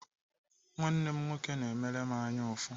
Nwanne m nwoke na-emere m anyaụfụ.